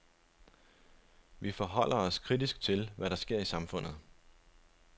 Vi forholder os kritisk til, hvad der sker i samfundet.